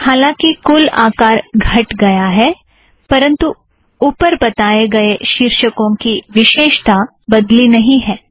हालांकि कुल आकार घट गया है परंतु उपर बताए गए शीर्षकों की विशेषता बदली नहीं है